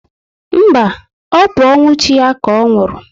Mba, ọ bụ ọnwụ chi ya ka ọ nwụrụ